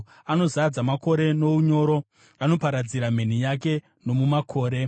Anozadza makore nounyoro; anoparadzira mheni yake nomumakore.